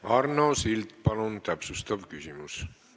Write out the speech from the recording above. Arno Sild, palun, täpsustav küsimus!